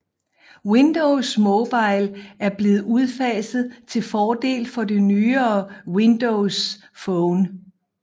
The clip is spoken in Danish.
Windows Mobile er blevet udfaset til fordel for det nyere Windows Phone